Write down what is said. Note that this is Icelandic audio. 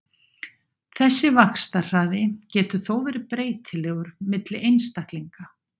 Þessi vaxtarhraði getur þó verið breytilegur milli einstaklinga.